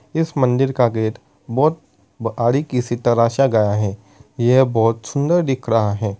इस मंदिर का गेट बोहोत बारिकी से तराशा गया है। ये बहोत सुंदर दिख रहा है।